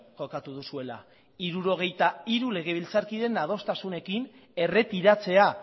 jokatu duzuela hirurogeita hiru legebiltzarkideren adostasunekin erretiratzea